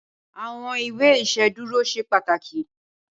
Awòn ìwé Iṣédùró ṣé pàtákí